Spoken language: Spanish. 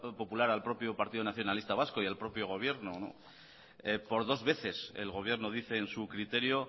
popular al propio partido nacionalista vasco y al propio gobierno por dos veces el gobierno dice en su criterio